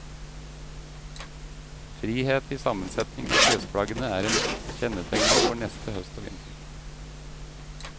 Frihet i sammensetningen av klesplaggene er kjennetegnet for neste høst og vinter.